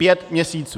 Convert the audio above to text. Pět měsíců!